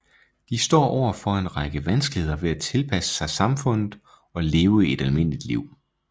De står over for en række vanskeligheder ved at tilpasse sig samfundet og leve et almindeligt liv